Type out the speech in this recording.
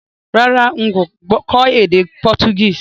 Rárá, n kò kó édé Portuguese